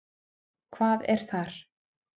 Hvað er þar?